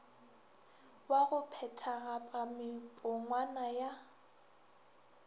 wa go phethagatpa mepongwana ya